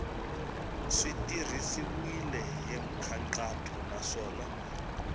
swi tirhisiwile hi nkhaqato naswona